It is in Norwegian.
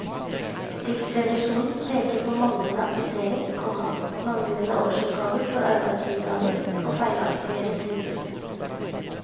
Riksrevisjonen peker på manglende attestering, komma manglende årsoppgaver for arbeidsgiveravgift og feilaktige rutiner. punktum